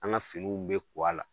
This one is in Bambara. An ka finiw bɛ kɔ a la